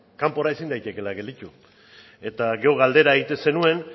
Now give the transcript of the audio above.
kanpora ezin daitekela gelditu eta gero galdera egiten zenuen